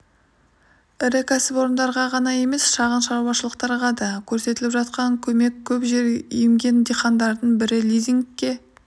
ірі кәсіпорындарға ғана емес шағын шаруашылықтарға да көрсетіліп жатқан көмек көп жер емген диқандардың бірі лизингке